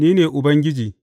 Ni ne Ubangiji.